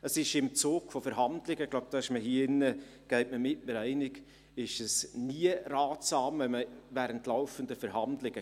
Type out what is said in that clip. Es ist während laufender Verhandlungen nie ratsam, die Karten allesamt auf den Tisch zu legen.